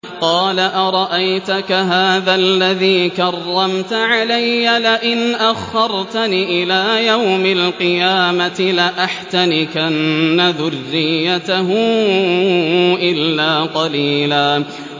قَالَ أَرَأَيْتَكَ هَٰذَا الَّذِي كَرَّمْتَ عَلَيَّ لَئِنْ أَخَّرْتَنِ إِلَىٰ يَوْمِ الْقِيَامَةِ لَأَحْتَنِكَنَّ ذُرِّيَّتَهُ إِلَّا قَلِيلًا